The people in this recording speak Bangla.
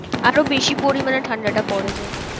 আরো বেশি পরিমানে ঠান্ডাটা পরে যায়।